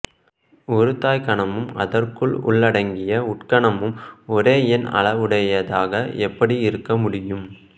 ஒரு தாய்க்கணமும் அதற்குள் உள்ளடங்கிய உட்கணமும் ஒரே எண் அளவையுள்ளதாக எப்படி இருக்கமுடியும்